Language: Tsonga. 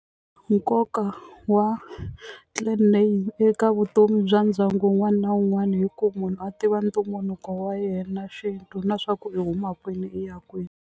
Nkoka wa clan name eka vutomi bya ndyangu wun'wana na wun'wana i ku munhu a tiva ntumbuluko wa yena xintu na swa ku i huma kwini i ya kwini.